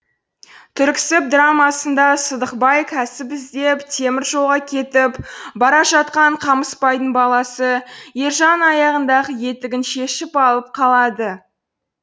түріксіб драмасында сыдық бай кәсіп іздеп темір жолға кетіп бара жатқан қамыспайдың баласы ержанның аяғындағы етігін шешіп алып қалады